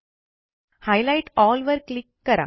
highlight L वर click करा